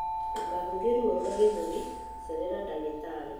Ndũkahũthie ruo rwa gĩthũri, cerera ndagĩtarĩ.